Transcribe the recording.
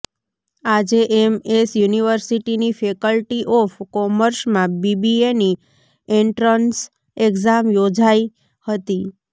આજે એમએસ યુનિર્વિસટીની faculty of કોમર્સમાં બીબીએની એન્ટ્રન્સ એકઝામ યોજાઇ હતી